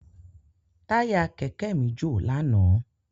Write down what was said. Táyà kẹ̀kẹ́ mi jò lánàá.